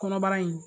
Kɔnɔbara in